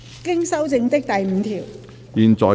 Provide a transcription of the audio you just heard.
經修正的第5條。